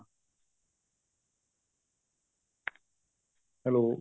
hello